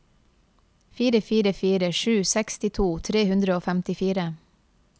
fire fire fire sju sekstito tre hundre og femtifire